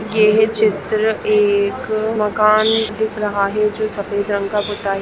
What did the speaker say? ये चित्र एक मकान दिख रहा है जो सफेद रंग का पुता है।